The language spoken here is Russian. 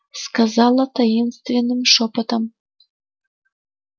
сказала таинственным шёпотом